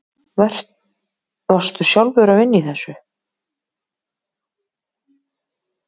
Varstu sjálfur að vinna í þessu?